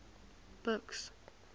buks